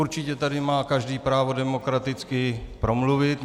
Určitě tady má každý právo demokraticky promluvit.